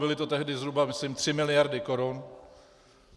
Byly to tehdy zhruba myslím tři miliardy korun.